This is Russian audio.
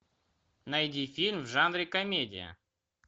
найди фильм в жанре комедия